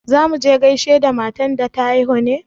Za mu je gaishe da matan da ta haihu ne?